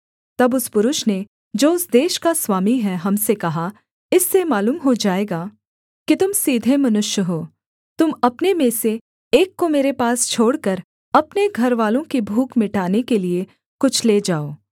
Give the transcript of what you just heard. तब उस पुरुष ने जो उस देश का स्वामी है हम से कहा इससे मालूम हो जाएगा कि तुम सीधे मनुष्य हो तुम अपने में से एक को मेरे पास छोड़कर अपने घरवालों की भूख मिटाने के लिये कुछ ले जाओ